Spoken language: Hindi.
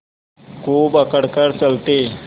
खूब अकड़ कर चलते